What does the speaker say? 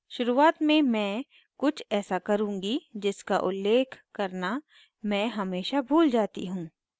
शुरुआत में मैं कुछ ऐसा करुँगी जिसका उल्लेख करना मैं हमेशा भूल जाती हूँ